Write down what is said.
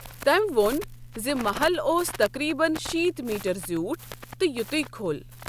تٔمۍ ووٚن ن زِ محل اوس تقریباً شیت میٹر زیٛوٗٹھ تہٕ یتُے كھوٚل ۔